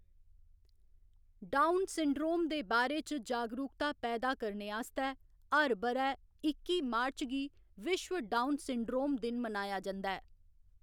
Down syndrome दे बारे च जागरूकता पैदा करने आस्तै हर ब'रै इक्की मार्च गी विश्व डाउन सिंड्रोम दिन मनाया जंदा ऐ।